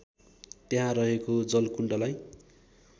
त्यहाँ रहेको जलकुण्डलाई